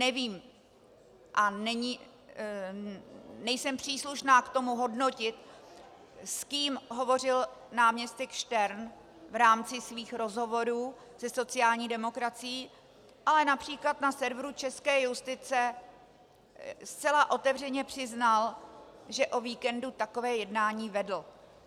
Nevím a nejsem příslušná k tomu hodnotit, s kým hovořil náměstek Štern v rámci svých rozhovorů se sociální demokracií, ale například na serveru Česká justice zcela otevřeně přiznal, že o víkendu takové jednání vedl.